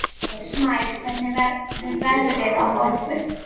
Snær, hvernig verður veðrið á morgun?